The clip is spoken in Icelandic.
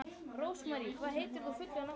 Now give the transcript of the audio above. Rósmarý, hvað heitir þú fullu nafni?